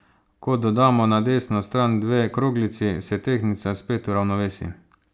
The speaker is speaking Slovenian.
Ko dodamo na desno stran dve kroglici, se tehtnica spet uravnovesi.